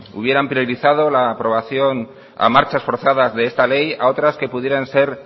hubieran priorizado la aprobación a marchas forzadas de esta ley a otras que pudieran ser